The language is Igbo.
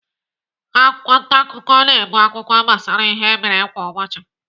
Akwụkwọ ntaakụkọ na-ebu akụkọ gbasara ihe mere kwa ụbọchị.